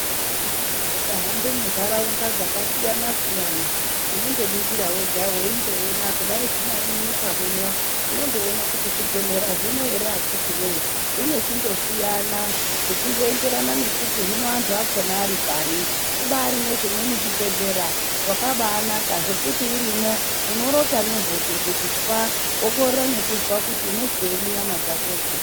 Ukahambe mundaraunda dzakasiyana siyana unondoningira wega weindoona kuti kudai dzingari munyika muno unondoona kuti zvibhedhlera zvino akitii we zvinochingosiiyana zvichienderana nekuti hino andu akona aripari kubari nezvimweni zvibhedhlera zvakabanaka zvekuti urimo unorota ngehope kuti tshwa unokanganwa kuti unozwei munyama dzako dzo.